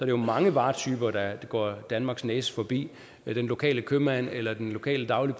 jo mange varetyper der går danmarks næse forbi den lokale købmand eller den lokale dagli